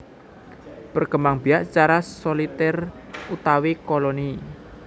Berkembangbiak secara Solitèr utawi Koloni